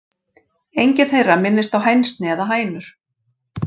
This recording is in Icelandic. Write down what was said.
Engin þeirra minnist á hænsni eða hænur.